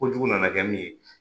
Kojugu nana kɛ min ye.